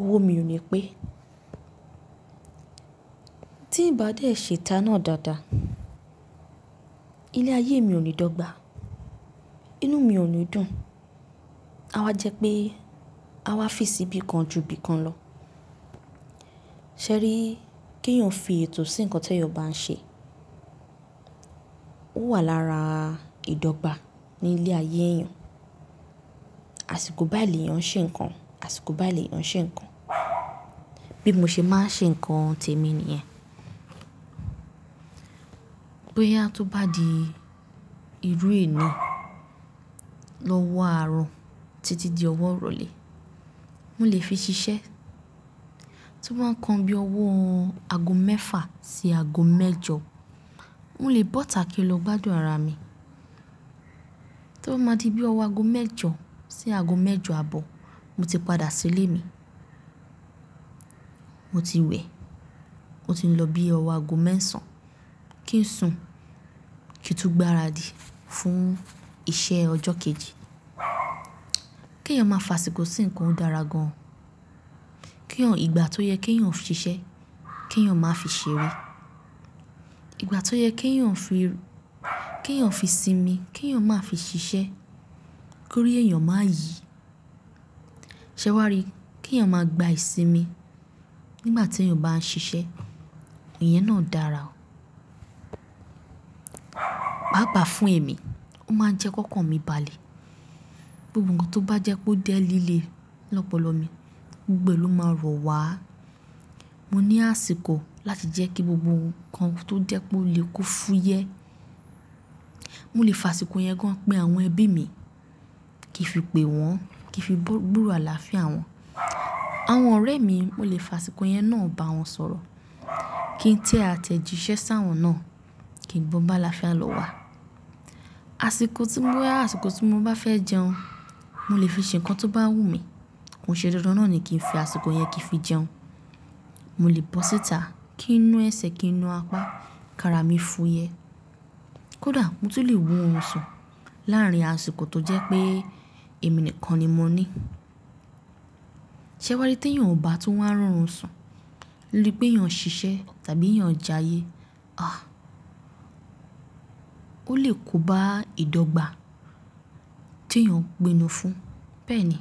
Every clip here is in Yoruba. owó mi ò ní pé. Tí n bá dé èsì ta náà dáadáa, ilé ayé mi ò ní dọ́gba, inú mi ò ní dùn. Á wá jẹ́ pé a wá sì bí nǹkan ju bí nǹkan lọ. Sẹ́rí kí èèyàn fi ètò sí nǹkan tó yọ̀ bá ń ṣe. Ó wà lára ìdọ́gba ní ilé ayé èèyàn. Àsìkò báìlẹ̀, èèyàn ń ṣe nǹkan, àsìkò báìlẹ̀, èèyàn ń ṣe nǹkan. Bí mo ṣe máa ń ṣe nǹkan témi nìyẹn. Bó ya tó bá di irú èèná lọ́wọ́ ààro títí di ọwọ́ iròlé, n mó lè fi ṣiṣẹ́. To ba ń kan bí ọwọ́ ago mẹ́fà sí ago mẹ́jọ, n ó lè bọ́tà kí n lọ gbádùn ara mi. Tí ó bá di bí ọwọ́ ago mẹ́jọ sí ago mẹ́jọ àbọ̀, mo ti padà sílé mi. Mo ti wẹ̀, mo ti ń lọ bí ọwọ́ ago mẹ́sàn-án kí n sùn, kí n tún gbáradì fún iṣẹ́ ọjọ́ kejì. Kí èèyàn máa fàsìkò sí nǹkan ó dára gan. Kí èèyàn ìgbà tó yẹ kí èèyàn ṣiṣẹ́, kí èèyàn máa fi ṣeré. Ìgbà tó yẹ kí èèyàn fi, kí èèyàn fi sinmi, kí èèyàn máa fi ṣiṣẹ́, ko ó rí èèyàn máa yí sè wà rí kin yan máa gba ìsinni nígbà tí eyàn bá sèsè ìyen náà dára pààpà fún èmi, ó máa ń jẹ́ kọ́kọ́ mi balẹ̀. Gbogbo ǹkan tó bá jẹ́ pé ó dé líle lọ́pọ̀lọpọ̀ mi, gbogbo e ló máa rọ̀ wá. Mo ní àsìkò láti jé ki gbogbo nnkan. Mo lè fàsìkò yẹn gan pé àwọn ẹbí mi, kí fi pè wọ́n, kí fi búru àlàáfíà wọ́n. Àwọn ọ̀rẹ́ mi, mo lè fàsìkò yẹn náà bá wọn sọ̀rọ̀. Kín te àtéjìnse sa won nà ki gbo ba àlàáfíà nà wa. Àsìkò tí bóyá àsìkò tí mo bá fẹ́ jẹun, mo lè fi ṣe ǹkan tó bá wù mí. Kò ṣe dandan náà ni kí n fi àsìkò yẹn kí n fi jẹun. Mo lè bọ́ síta, kí inú ẹsẹ̀ kí inú apá, kí ara mi fúyẹ́. Kódà mo tún lè wo ohun sùn láàárín àsìkò tó jẹ́ pé èmi nìkan ni mo ní. Sẹ́wá rí tí èèyàn ò bá tún wá rọ̀run sùn lórí pé èèyàn ń ṣiṣẹ́ tàbí èèyàn ń jayé, ah! Ó lè kó bá ìdọ́gba tí èèyàn gbé inú fún, bẹ́ẹ̀ ni.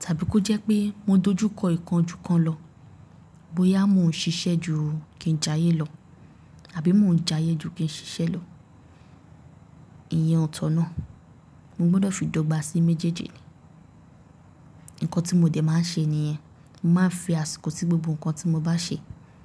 Tàbí kó jẹ́ pé mo dojú kọ ìkan jú kan lọ. Bóyá mo ń ṣiṣẹ́ ju kí n jayé lọ àbí mo ń jayé ju kí n ṣiṣẹ́ lọ. Ìyẹn ọ̀tọ̀ náà, mo gbọ́dọ̀ fi dọ́gba sí i méjèèjì ni. Nnkan tí mo dé máa se níyen. Mo máa ń fi àsìkò sí gbogbo ǹkan tí mo bá ṣe.